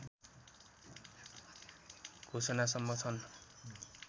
घोषणासम्म छन्